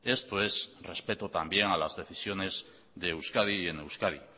esto es respeto también a las decisiones de euskadi y en euskadi